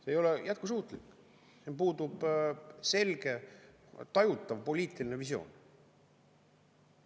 See ei ole jätkusuutlik, puudub selge tajutav poliitiline visioon.